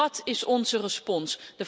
En wat is onze respons?